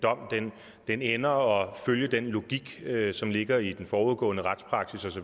en dom ender og følge den logik som ligger i den forudgående retspraksis